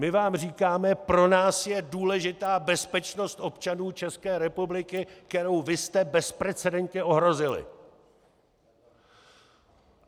My vám říkáme, pro nás je důležitá bezpečnost občanů České republiky, kterou vy jste bezprecedentně ohrozili!